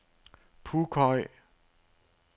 Pughøj